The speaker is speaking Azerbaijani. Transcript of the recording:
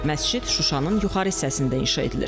Məscid Şuşanın yuxarı hissəsində inşa edilir.